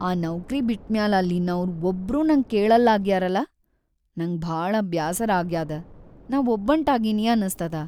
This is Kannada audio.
ಆ ನೌಕ್ರಿ ಬಿಟ್ಮ್ಯಾಲ್ ಅಲ್ಲಿನೌರ್‌ ಒಬ್ರೂ ನಂಗ್ ಕೇಳಲ್ಲಾಗ್ಯಾರಲ, ನಂಗ್ ಭಾಳ ಬ್ಯಾಸರಾಗ್ಯಾದ ನಾ ಒಬ್ಬಂಟಾಗೀನಿ ಅನಸ್ತದ.